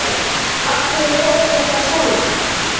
Af hverju fór þetta svona?